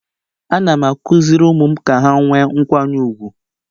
Ana m akụziri ụmụ m Ka ha nwee nkwanye ugwu..